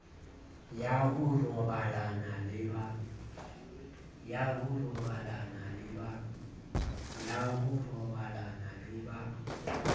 ya ho robalana le ba